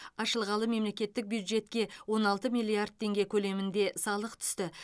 ашылғалы мемлекеттік бюджетке он алты миллард теңге көлемінде салық түсті